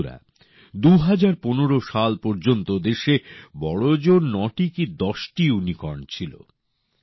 বন্ধুরা ২০১৫ সাল পর্যন্ত দেশে বড়জোর নটি কি দশটি ইউনিকর্ন ছিল